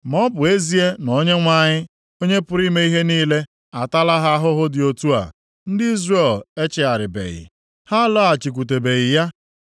Ma ọ bụ ezie na Onyenwe anyị, Onye pụrụ ime ihe niile ataala ha ahụhụ dị otu a, ndị Izrel echegharibeghị, ha alọghachikwutebeghị ya.